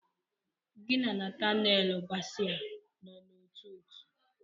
Gi na Natanelu basi a nọ n'ótú òtù?